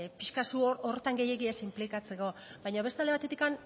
pixka bat horretan zu gehiegi ez inplikatzeko baina beste alde batetik